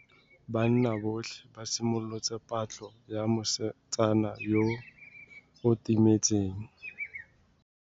Banna botlhê ba simolotse patlô ya mosetsana yo o timetseng.